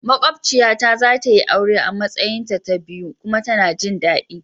Maƙwociya ta zatayi aure a Matsayin ta biyu kuma tana jin dadi.